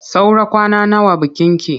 Saura kwana nawa bikinki?